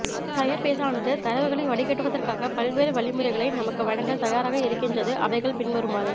ஃபயர்பேஸானது தரவுகளை வடிகட்டிடுவதற்காக பல்வேறு வழிமுறைகளை நமக்கு வழங்க தயாராக இருக்கின்றது அவைகள் பின்வருமாறு